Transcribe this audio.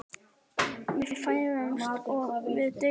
Við fæðumst og við deyjum.